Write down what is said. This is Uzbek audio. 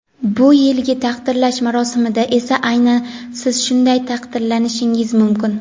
Bu yilgi taqdirlash marosimida esa aynan Siz shunday taqdirlanishingiz mumkin.